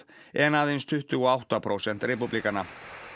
en aðeins tuttugu og átta prósent repúblikana